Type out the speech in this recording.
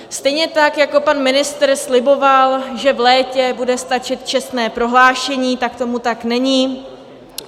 Stejně tak jako pan ministr sliboval, že v létě bude stačit čestné prohlášení, tak tomu tak není.